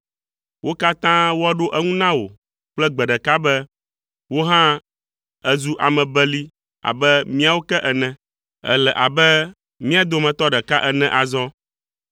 Wo katã woaɖo eŋu na wò kple gbe ɖeka be, “Wò hã èzu ame beli abe míawo ke ene; èle abe mia dometɔ ɖeka ene azɔ.”